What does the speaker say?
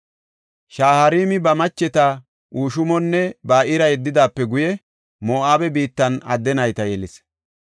Shaharaami ba macheta Hushimonne Ba7iira yeddidaape guye Moo7abe biittan adde nayta yelis.